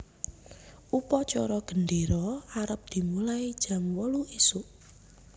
Upacara gendero arep dimulai jam wolu isuk